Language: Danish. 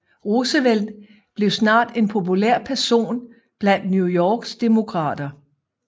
Roosevelt blev snart en populær person blandt New Yorks Demokrater